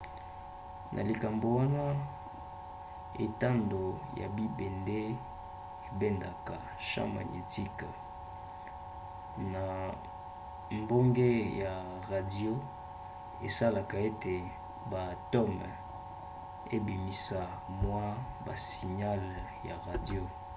na likambo wana etando ya bibende ebendaka champ magnétique na mbonge ya radio esalaka ete baatomes ebimisa mwa basignale ya radio